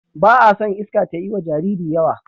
Ba a son iska tayiwa Jariri yawa